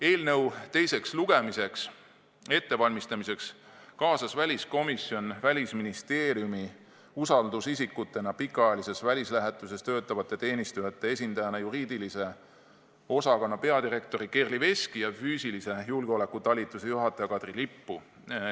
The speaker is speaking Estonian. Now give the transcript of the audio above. Eelnõu teiseks lugemiseks ettevalmistamiseks kaasas väliskomisjon Välisministeeriumi usaldusisikutena pikaajalises välislähetuses töötavate teenistujate esindajana juriidilise osakonna peadirektori Kerli Veski ja füüsilise julgeoleku talituse juhataja Katrin Lipu.